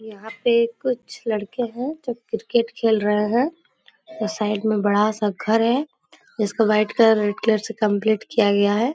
यहाँ पे कुछ लड़के हैं जो क्रिकेट खेल रहे हैं और साइड में बड़ा सा घर है । जिसको व्हाइट कलर रेड कलर से कम्पलीट किया गया है ।